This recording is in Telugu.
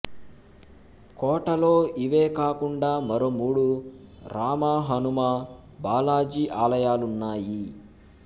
కోటలో ఇవేకాకుండా మరో మూడు రామ హనుమ బాలాజీ ఆలయాలున్నాయి